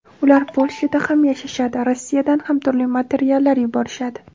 Ular Polshada ham yashashadi, Rossiyadan ham turli materiallar yuborishadi.